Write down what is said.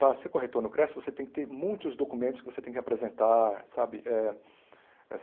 Para ser corretor no Creci, você tem que ter muitos documentos que você tem que apresentar, sabe? Eh